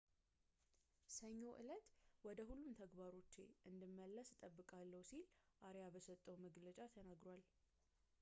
ሰኞ ዕለት ወደ ሁሉም ተግባሮቼ እንደመለስ እጠብቃለሁ ሲል አሪያስ በሰጠው መግለጫ ተናግሯል